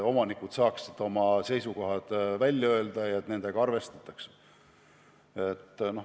Omanikud peavad saama oma seisukohad välja öelda ja avaldada soovi, et nendega arvestatakse.